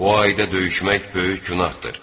Bu ayda döyüşmək böyük günahdır.